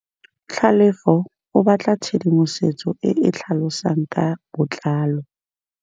Tlhalefô o batla tshedimosetsô e e tlhalosang ka botlalô.